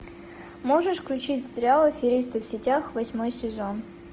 можешь включить сериал аферисты в сетях восьмой сезон